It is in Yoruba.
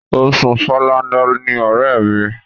O sùn falala ni ọ̀rẹ́ mi.